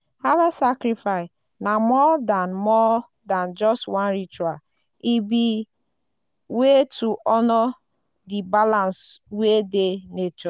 harvest na more than more than just one ritual—e be way to honour di balance wey dey nature.